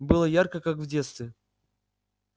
было ярко как в детстве